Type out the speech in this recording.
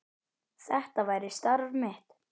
Þetta væri starf mitt.